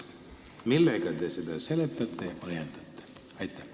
Millega te seda seletate ja põhjendate?